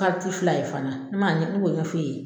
la ye fana ne man ne m'o ɲɛfo e ye.